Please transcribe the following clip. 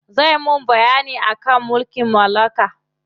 Zai mun bayyani akan mulkin mallaka.